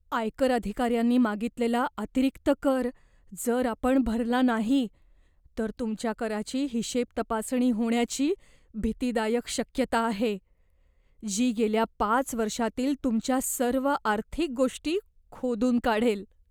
आयकर अधिकाऱ्यांनी मागितलेला अतिरिक्त कर जर आपण भरला नाही, तर तुमच्या कराची हिशेबतपासणी होण्याची भीतीदायक शक्यता आहे, जी गेल्या पाच वर्षातील तुमच्या सर्व आर्थिक गोष्टी खोदून काढेल.